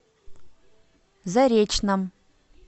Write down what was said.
заречном